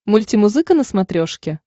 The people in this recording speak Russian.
мультимузыка на смотрешке